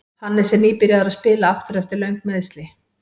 Hannes er nýbyrjaður að spila aftur eftir löng meiðsli.